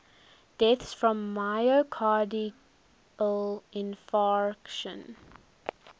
deaths from myocardial infarction